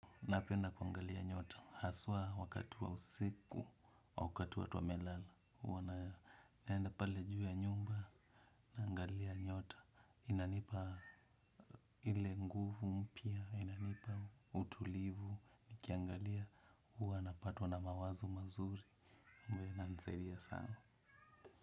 Napenda kuangalia nyota, haswa wakati wa usiku wa wakati watu wamelala huwa naenda pale juu ya nyumba, naangalia nyota. Inanipa ile nguvu mpya, inanipa utulivu, nikiangalia huwa napatwa na mawazo mazuri, ambayo inanisaidia sana.